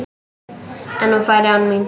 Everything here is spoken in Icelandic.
En hún færi án mín.